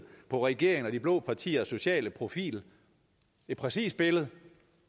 på regeringen og de blå partiers sociale profil et præcist billede